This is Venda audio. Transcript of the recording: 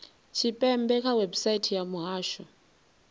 tshipembe kha website ya muhasho